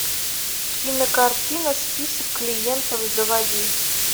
кинокартина список клиентов заводи